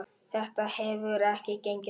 Þetta hefur ekki gengið upp.